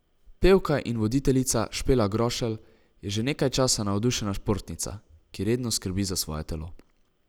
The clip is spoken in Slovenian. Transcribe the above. Pevka in voditeljica Špela Grošelj je že nekaj časa navdušena športnica, ki redno skrbi za svoje telo.